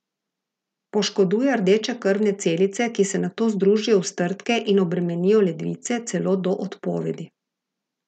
Poškoduje rdeče krvne celice, ki se nato združijo v strdke in obremenijo ledvice, celo do odpovedi.